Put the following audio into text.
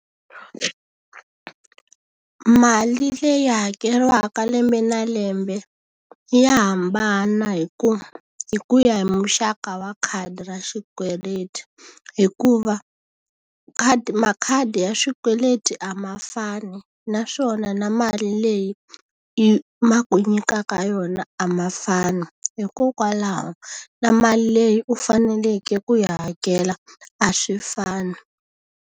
Mali leyi hakeriwaka lembe na lembe ya hambana hi ku hi ku ya hi muxaka wa khadi ra xikweleti. Hikuva khadi makhadi ya swikweleti a ma fani, naswona na mali leyi ma ku nyikaka yona a ma fani. Hikokwalaho na mali leyi u faneleke ku yi hakela a swi fani.